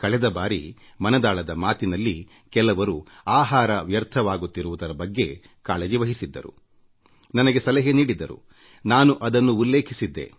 ಕಳೆದ ಬಾರಿ ಮನದಾಳದ ಮಾತಿನಲ್ಲಿ ಕೆಲವರು ಆಹಾರ ವ್ಯರ್ಥವಾಗುತ್ತಿರುವುದರ ಬಗ್ಗೆ ಕಾಳಜಿವಹಿಸಿ ನನಗೆ ಸಲಹೆ ನೀಡಿದ್ದರುನಾನು ಅದನ್ನು ಉಲ್ಲೇಖಿಸಿದ್ದೆ